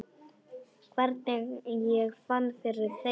Hvernig ég fann fyrir þeim?